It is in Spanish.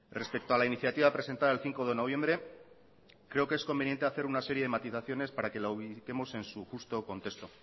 respecto a la iniciativa presentada el cinco de noviembre creo que es conveniente hacer una serie de matizaciones para que la ubiquemos en su justo contexto